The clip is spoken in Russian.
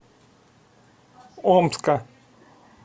омска